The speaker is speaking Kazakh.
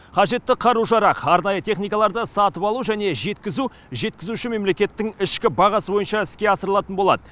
қажетті қару жарақ арнайы техникаларды сатып алу және жеткізу жеткізуші мемлекеттің ішкі бағасы бойынша іске асырылатын болады